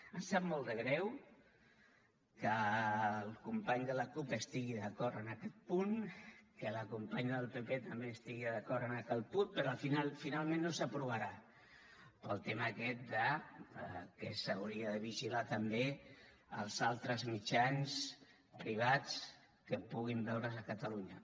em sap molt de greu que el company de la cup estigui d’acord amb aquest punt que la companya del pp també estigui d’acord amb aquest punt però que finalment no s’aprovi pel tema aquest que s’haurien de vigilar també els altres mitjans privats que puguin veure’s a catalunya